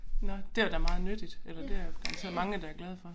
Nåh det var da meget nyttigt eller det er garanteret mange der glade for